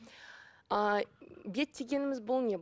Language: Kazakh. ы бет дегеніміз бұл не